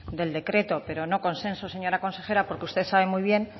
del decreto pero no consenso señora consejera porque usted sabe muy bien